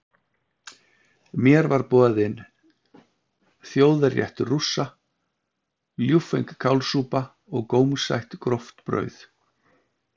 Mér var borinn þjóðarréttur Rússa, ljúffeng kálsúpa og gómsætt gróft brauð.